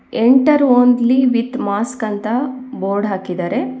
Enter only with mask ಅಂತ board ಹಾಕಿದ್ದಾರೆ.